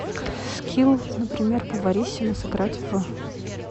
скилл например повариссимо сыграть в